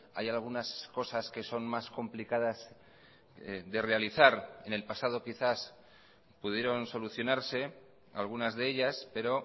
hay algunas cosas que son más complicadas de realizar en el pasado quizás pudieron solucionarse algunas de ellas pero